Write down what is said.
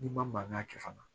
N'i ma mankan kɛ fana